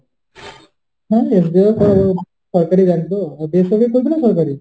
হ্যাঁ SBI ও করা যায় সরকারি bank তো, বেসরকারি করবি না সরকারি?